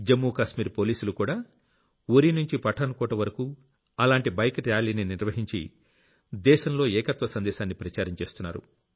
Jammu Kashmir పోలీసులుకూడా ఉరీనుంచి Pathan coat వరకూ అలాంటి bike ర్యాలీని నిర్వహించి దేశంలో ఏకత్వ సందేశాన్ని ప్రచారం చేస్తున్నారు